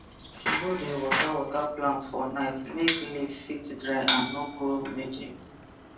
she no dey water water plant for night make leaf fit dry and no grow mildew